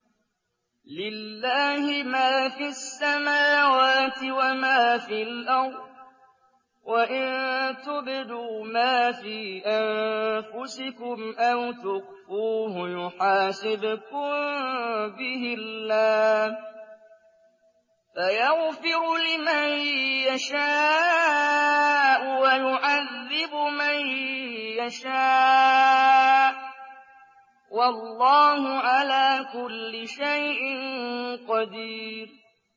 لِّلَّهِ مَا فِي السَّمَاوَاتِ وَمَا فِي الْأَرْضِ ۗ وَإِن تُبْدُوا مَا فِي أَنفُسِكُمْ أَوْ تُخْفُوهُ يُحَاسِبْكُم بِهِ اللَّهُ ۖ فَيَغْفِرُ لِمَن يَشَاءُ وَيُعَذِّبُ مَن يَشَاءُ ۗ وَاللَّهُ عَلَىٰ كُلِّ شَيْءٍ قَدِيرٌ